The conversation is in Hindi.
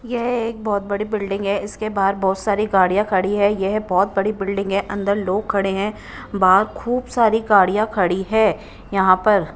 यह एक बहुत बड़ी बिल्डिंग है इसके बाहर बहुत सारी गाड़ियां खड़ी है यह बहुत बड़ी बिल्डिंग है अंदर लोग खड़े हैं बाहर खूब सारी गाड़ियां खड़ी है यहां पर।